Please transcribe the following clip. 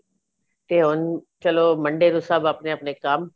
ਤੇ ਹੁਣ ਚਲੋ Monday ਨੂੰ ਸਭ ਆਪਣੇ ਆਪਣੇ ਕੰਮ